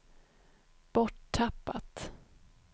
borttappat